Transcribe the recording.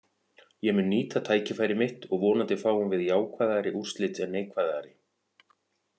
Ég mun nýta tækifæri mitt og vonandi fáum við jákvæðari úrslit en neikvæðari.